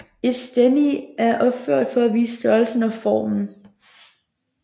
Et stendige er opført for at vise størrelsen og formen